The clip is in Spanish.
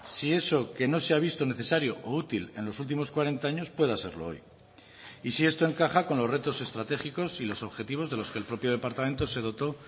si eso que no se ha visto necesario o útil en los últimos cuarenta años pueda serlo hoy y si esto encaja con los retos estratégicos y los objetivos de los que el propio departamento se dotó